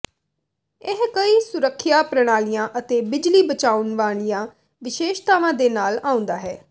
ਇਹ ਕਈ ਸੁਰੱਖਿਆ ਪ੍ਰਣਾਲੀਆਂ ਅਤੇ ਬਿਜਲੀ ਬਚਾਉਣ ਵਾਲੀਆਂ ਵਿਸ਼ੇਸ਼ਤਾਵਾਂ ਦੇ ਨਾਲ ਆਉਂਦਾ ਹੈ